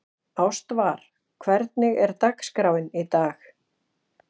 Ástvar, hvernig er dagskráin í dag?